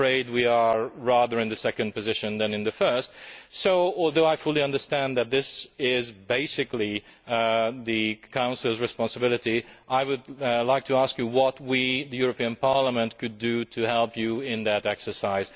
I am afraid that we are more in the second position than in the first, so, although I fully understand that this is basically the Council's responsibility, I would like to ask you what we, the European Parliament, could do to help you in that exercise.